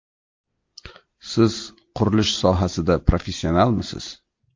Siz qurilish sohasida professionalmisiz?